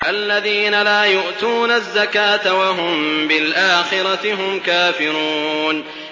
الَّذِينَ لَا يُؤْتُونَ الزَّكَاةَ وَهُم بِالْآخِرَةِ هُمْ كَافِرُونَ